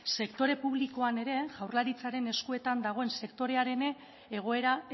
sektore publikoan ere jaurlaritzaren eskuetan dagoen sektorean ere egoera